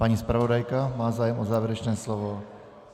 Paní zpravodajka má zájem o závěrečné slovo?